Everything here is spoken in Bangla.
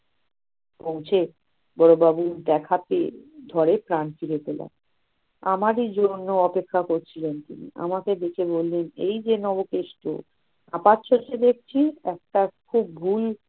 পৌঁছে, বড়বাবুর দেখা পেয়ে ধরে প্রাণ ফিরে পেলাম। আমাদের জন্য অপেক্ষা করছিলেন তিনি। আমাকে দেখে বলে উঠলেন এই যে নব কেষ্ট হাঁপাচ্ছ ঘুম